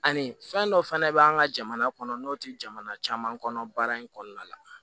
Ani fɛn dɔ fɛnɛ bɛ an ka jamana kɔnɔ n'o tɛ jamana caman kɔnɔ baara in kɔnɔna la